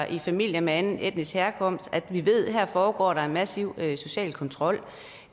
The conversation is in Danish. i familier med anden etnisk herkomst foregår en massiv social kontrol